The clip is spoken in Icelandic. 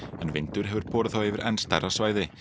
en vindur hefur borið þá yfir enn stærra svæði